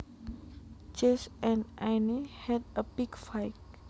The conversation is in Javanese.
Jesse and Anne had a big fight